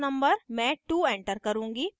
मैं 2 enter करुँगी